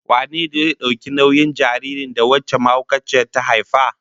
Wane zai dauki nauyin jaririn da wancan mahaukaciyar ta haifa?